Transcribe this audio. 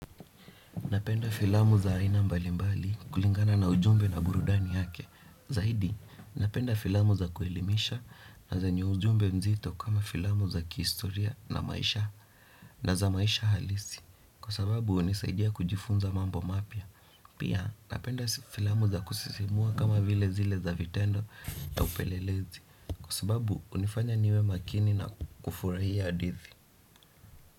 Napenda filamu za aina mbalimbali kulingana na ujumbe na burudani yake. Zahidi, napenda filamu za kuelimisha na zenye ujumbe mzito kama filamu za kihistoria na za maisha halisi. Kwa sababu hunisaidia kujifunza mambo mapya. Pia napenda filamu za kusisimua kama vile zile za vitendo na upelelezi. Kwa sababu hunifanya niwe makini na kufurahia adithi.